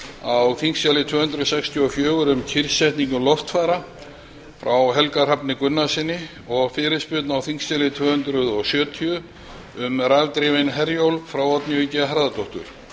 á þingskjali tvö hundruð sextíu og fjögur um kyrrsetningu loftfara frá helga hrafni gunnarssyni og fyrirspurn á þingskjali tvö hundruð sjötíu um rafdrifinn herjólf frá oddnýju g harðardóttur